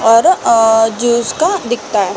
और अ अ जिसका अ दिखता हैं |